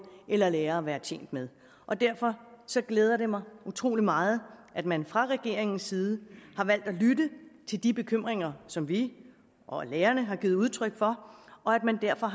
eller lærere være tjent med og derfor glæder det mig utrolig meget at man fra regeringens side har valgt at lytte til de bekymringer som vi og lærerne har givet udtryk for og at man derfor